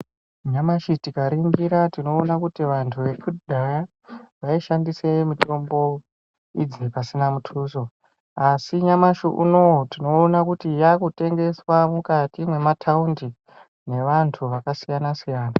Nyamashi tikaringira tinoona kuti vantu vekudhaya vaishandise mitombo idzi pasina mutuso. Asi nyamashi unouyu tinoona kuti yakutengeswa mukati mwemataundi nevantu vakasiyana-siyana.